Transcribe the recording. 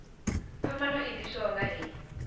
phambano i ḓiswaho nga hei